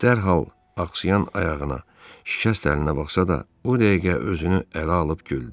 Dərhal axsayayan ayağına, şikəst əlinə baxsa da, o dəqiqə özünü ələ alıb güldü.